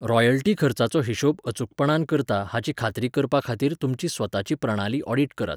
Royalty खर्चाचो हिशोब अचूकपणान करता हाची खात्री करपा खातीर तुमची स्वताची प्रणाली ऑडिट करात.